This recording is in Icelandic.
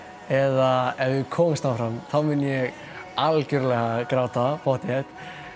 eða ef við komumst áfram þá mun ég algjörlega gráta pottþétt